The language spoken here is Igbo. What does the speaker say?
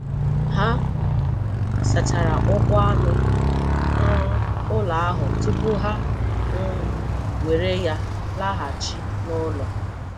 Ha sachara ụkwụ anụ um ụlọ ahụ tupu ha um were ya laghachi n'ụlọ.